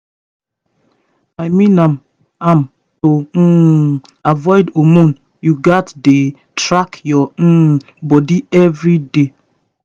i mean am am to um avoid hormone you gats dey track your um body every day